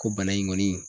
Ko bana in kɔni